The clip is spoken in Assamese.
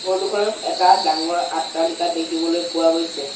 ফটো খনত এটা ডাঙৰ অট্টালিকা দেখিবলৈ পোৱা গৈছে।